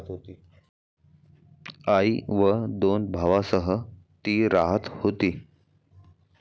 आई व दोन भावांसह ती राहत होती.